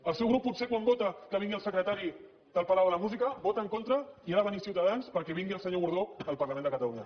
el seu grup potser quan vota que vingui el secretari del palau de la música hi vota en contra i ha de venir ciutadans perquè vingui el senyor gordó al parlament de catalunya